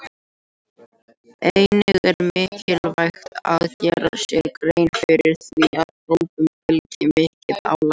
Einnig er mikilvægt að gera sér grein fyrir því að prófum fylgir mikið álag.